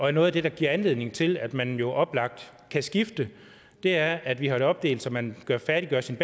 er noget af det der giver anledning til at man jo oplagt kan skifte er at vi har det opdelt så man færdiggør sin